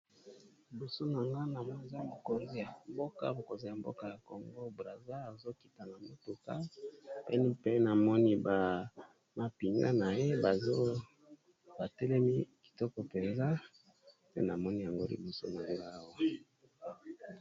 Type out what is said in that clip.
Liboso na nga na moni eza mokonzi ya mboka, mokonzi ya mboka ya congo brasil azokita na motuka pe pe na moni bamapinga na ye bazobatelemi kitoko mpenza pe na moni yango liboso na ngai awa.